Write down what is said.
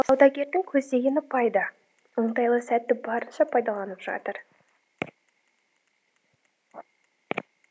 саудагердің көздегені пайда оңтайлы сәтті барынша пайдаланып жатыр